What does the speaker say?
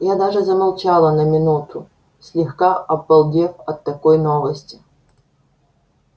я даже замолчала на минуту слегка обалдев от такой новости